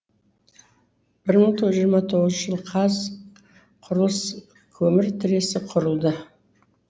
бір мың тоғыз жүз жиырма тоғызыншы жылы қазаққұрылыскөмір тресі құрылды